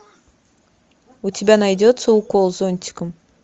у тебя найдется укол зонтиком